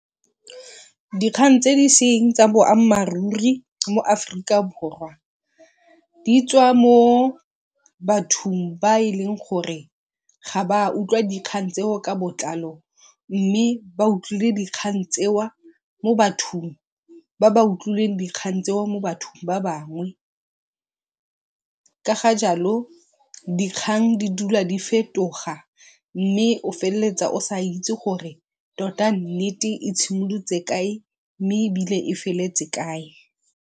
Dikgang tse di seng tsa boammaaruri mo Aforika Borwa di tswa mo bathong ba e leng gore ga ba utlwa dikgang tseo ka botlalo mme ba utlwile dikgang tse mo bathong ba ba utlwileng dikgang tseo mo bathong ba bangwe. Ka ga jalo dikgang di dula di fetoga mme o feleletsa o sa itse gore tota nnete e tshimolotse kae mme e feleletse kae.